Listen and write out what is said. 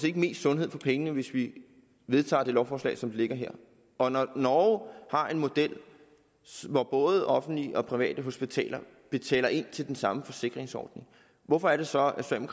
ikke mest sundhed for pengene hvis vi vedtager lovforslaget som det ligger her og når norge har en model hvor både offentlige og private hospitaler betaler ind til den samme forsikringsordning hvorfor er det så